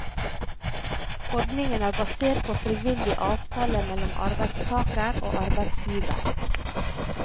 Ordningen er basert på frivillig avtale mellom arbeidstager og arbeidsgiver.